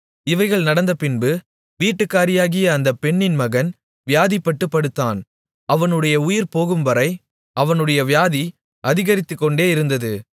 இவைகள் நடந்தபின்பு வீட்டுக்காரியாகிய அந்த பெண்ணின் மகன் வியாதிப்பட்டுப் படுத்தான் அவனுடைய உயிர்போகும்வரை அவனுடைய வியாதி அதிகரித்துக்கொண்டே இருந்தது